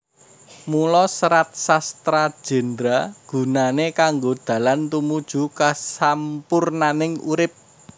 Mula Serat Sastra Jendra gunané kanggo dalan tumuju kasampurnaning urip